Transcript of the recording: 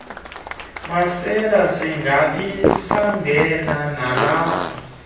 masele singabisangena nalapha